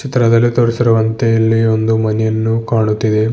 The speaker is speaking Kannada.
ಚಿತ್ರದಲ್ಲಿ ತೋರಿಸಿರುವಂತೆ ಇಲ್ಲಿ ಒಂದು ಮನೆಯನ್ನು ಕಾಣುತ್ತಿದೆ.